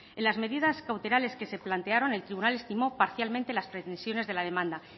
en las medidas cautelares que se plantearon el tribunal estimó parcialmente las pretensiones de la demanda